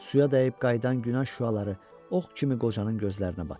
Suya dəyib qayıdan günəş şüaları ox kimi qocanın gözlərinə batırdı.